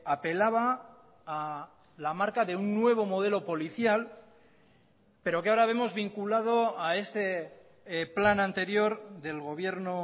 apelaba a la marca de un nuevo modelo policial pero que ahora vemos vinculado a ese plan anterior del gobierno